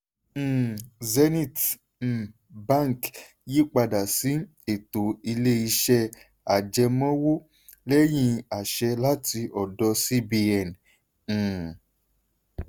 um zenith um bank yí pada sí ètò ilé-iṣẹ́ ajẹmọ́wọ́ lẹ́yìn àṣẹ láti ọdọ cbn. um